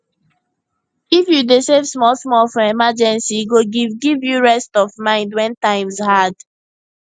if you dey save small small for emergency e go give give you rest of mind when times hard